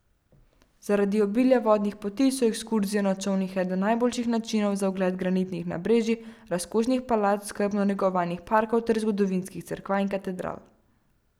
Zaradi obilja vodnih poti so ekskurzije na čolnih eden najboljših načinov za ogled granitnih nabrežij, razkošnih palač, skrbno negovanih parkov ter zgodovinskih cerkva in katedral.